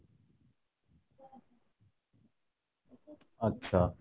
আচ্ছা